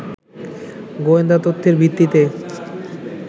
গোয়েন্দা তথ্যের ভিত্তিতে